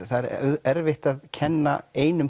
það er erfitt að kenna einum